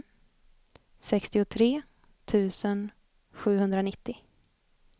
sextiotre tusen sjuhundranittio